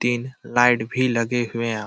तीन लाइट भी लगे हुए --